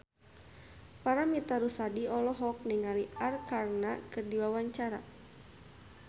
Paramitha Rusady olohok ningali Arkarna keur diwawancara